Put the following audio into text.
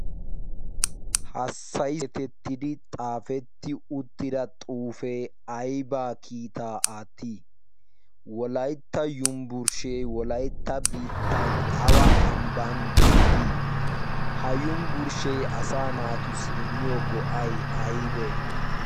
hassayi etettidi xaafetti uttida xuufee aybaa kiitaa aattii wolaytta yumbburshshee wolaytta biittan awa ambban beettii? ha yumbburshshee asa naatussi immiyo go'a? aybee?